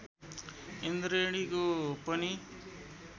इन्द्रेणीको पनि